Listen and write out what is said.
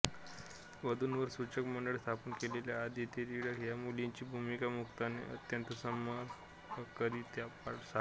वधुवर सूचक मंडळ स्थापन केलेल्या अदिती टिळक या मुलीची भूमिका मुक्ताने अत्यंत समर्पकरीत्या साकारली